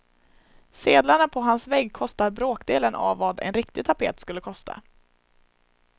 Sedlarna på hans vägg kostar bråkdelen av vad en riktig tapet skulle kosta.